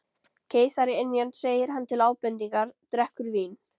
Keisaraynjan segir hann til ábendingar, drekkur vín